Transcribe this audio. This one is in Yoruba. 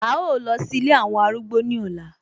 A ó lọ sí Ilé àwọn arúgbó ní ọ̀la